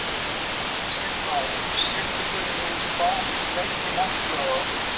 Signar, syngdu fyrir mig „Bak við veggi martraðar“.